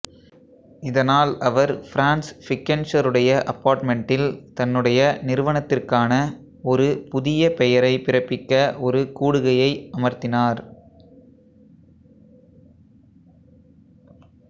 இதனால் அவர் ஃபிரான்ஸ் ஃபிக்கெண்ட்ஷெருடைய அபார்ட்மென்டில் தன்னுடைய நிறுவனத்திற்கான ஒரு புதிய பெயரை பிறப்பிக்க ஒரு கூடுகையை அமர்த்தினார்